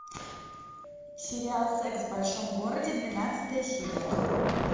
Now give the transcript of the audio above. сериал секс в большом городе двенадцатая серия